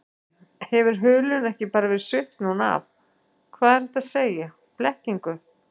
Guðný: Hefur hulunni ekki bara verið svipt núna af, hvað er hægt að segja, blekkingu?